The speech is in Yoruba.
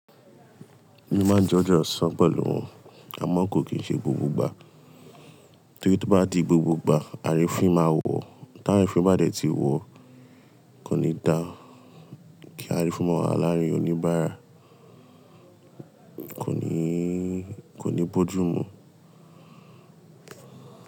Mí máa ń je onjẹ ọsán pẹ̀lú wọn, àmọ́ kò kí ń ṣe gbogbo ìgbà. Torí tó bá di gbogbo ìgbà, arífin máa wọ̀, tá arifin bá dẹ̀ ti wọ̀, kò ní dá kí arífin ma wa láárin oníbàárà, kò ní, kò ní bójú mú.